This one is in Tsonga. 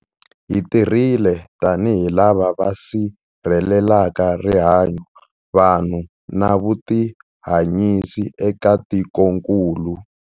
Hi tirhile tanihi lava va sirhelelaka rihanyu, vanhu na vutihanyisi eka tikokulu.